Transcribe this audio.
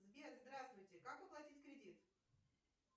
сбер здравствуйте как оплатить кредит